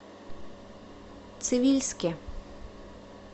цивильске